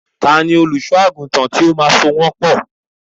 Ta ni olùṣọ́-àgùntàn tí ó máa so wọ́n pọ̀?